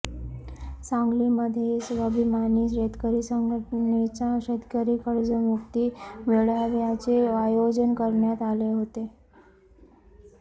सांगलीमध्ये स्वाभिमानी शेतकरी संघटनेचा शेतकरी कर्जमुक्ती मेळाव्याचे आयोजन करण्यात आले होते